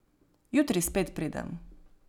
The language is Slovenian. Jutri spet pridem.